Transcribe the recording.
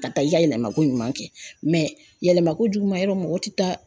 Ka taa i ka yɛlɛmako ɲuman kɛ yɛlɛmakojuguma yɔrɔ mɔgɔ ti taa.